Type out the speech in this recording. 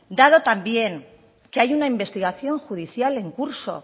dado también que hay una investigación judicial en curso